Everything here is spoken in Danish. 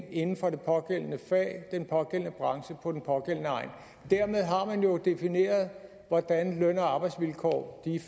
inden for det pågældende fag den pågældende branche på den pågældende egn dermed har man jo defineret hvordan løn og arbejdsvilkårene